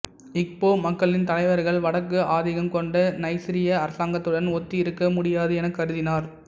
இக்போ மக்களின் தலைவர்கள் வடக்கு ஆதிக்கம் கொண்ட நைசீரிய அரசாங்கத்துடன் ஒத்தி இருக்க முடியாது எனக் கருதினர்